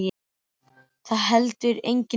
Það er nú heldur engin furða.